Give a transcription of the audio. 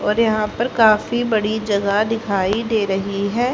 और यहां पर काफी बड़ी जगह दिखाई दे रही है।